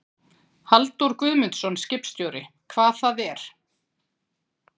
Halldór Guðmundsson, skipstjóri: Hvað það er?